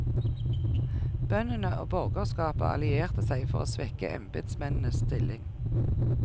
Bøndene og borgerskapet allierte seg for å svekke embetsmennenes stilling.